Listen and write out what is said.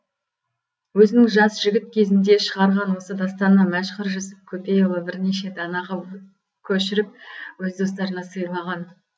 өзінің жас жігіт кезінде шығарған осы дастанын мәшһүр жүсіп көпейұлы бірнеше дана қып көшіріп өз достарына сыйлаған